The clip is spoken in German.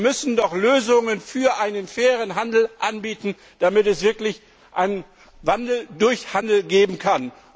Wir müssen doch Lösungen für einen fairen Handel anbieten, damit es wirklich einen Wandel durch Handel geben kann.